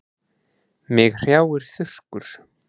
Mig hrjáir þurrkur.